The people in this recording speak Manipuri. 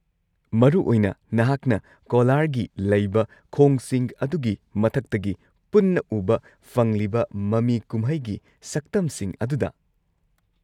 ꯃꯔꯨꯑꯣꯏꯅ ꯅꯍꯥꯛꯅ ꯃꯊꯧꯅꯥ ꯂꯩꯕ ꯈꯣꯡꯁꯤꯡ ꯑꯗꯨꯒꯤ ꯃꯊꯛꯇꯒꯤ ꯄꯨꯟꯅ ꯎꯕ ꯐꯪꯂꯤꯕ ꯃꯃꯤ ꯀꯨꯝꯍꯩꯒꯤ ꯁꯛꯇꯝꯁꯤꯡ ꯑꯗꯨꯗ꯫